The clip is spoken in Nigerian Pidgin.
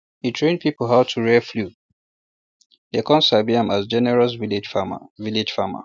e train people how to um rear fowl um dem con um sabi am as generous village farmer village farmer